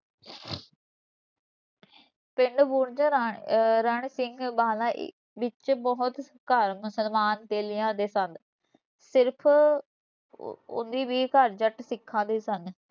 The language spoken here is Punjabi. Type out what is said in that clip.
ਪਿੰਡ ਬੁਰਜ ਰ ਅਹ ਰਣ ਸਿੰਘ ਵਾਲਾ ਵਿਚ ਬਹੁਤ ਘਰ ਮੁਸਲਮਾਨ ਤੇਲੀਆਂ ਦੇ ਸਨ, ਸਿਰਫ਼ ਉੱਨੀ ਵੀਹ ਘਰ ਜੱਟ ਸਿੱਖਾਂ ਦੇ ਸਨ।